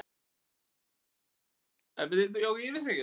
Leiklist í Austur-Berlín snerist á þessu skeiði einkum um tvo möndla